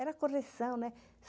Era correção, né?